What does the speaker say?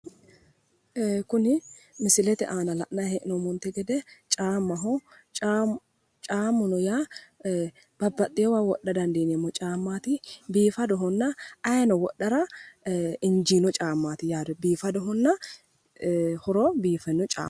Kuni misilete aana la'nayi hee'nommonte gede caammaho caammuno yaa babbaxxeyoowa wodha dandiineemmo caammaati biifadhonna ayeeno wodhara injiino caammaati yaate biifadohonna horo biifino caammaati.